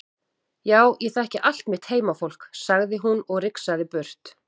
Já ég þekki allt mitt heimafólk, sagði hún og rigsaði burt.